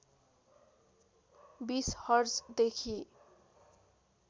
२० हर्जदेखि